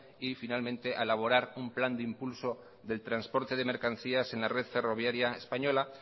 y finalmente a elaborar un plan de impulso del trasporte de mercancías en la red ferroviaria española